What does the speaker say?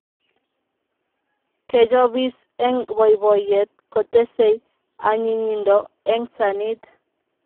Ke chopis eng boiboiyet kotesei anyinyindo eng sanit